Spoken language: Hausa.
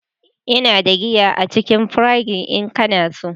Ina da giya a cikin fridge in kana so.